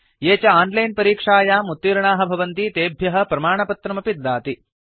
ये च आनलैन परीक्षायाम् उत्तीर्णाः भवन्ति तेभ्यः प्रमाणपत्रमपि ददाति